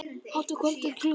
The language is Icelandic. Hátt að kvöldi klukkan slær.